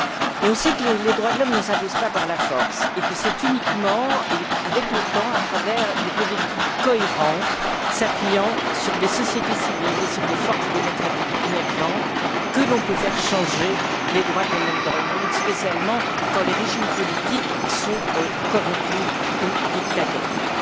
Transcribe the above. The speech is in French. Or, on sait que les droits de l'homme ne s'imposent pas par la force, et que c'est uniquement et avec le temps, à travers des politiques cohérentes s'appuyant sur des sociétés civiles et sur des forces démocratiques émergentes, que l'on peut faire changer les droits de l'homme dans le monde, en particulier quand les régimes politiques sont corrompus ou dictatoriaux.